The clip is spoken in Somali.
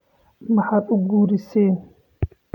Maxad uukureysin.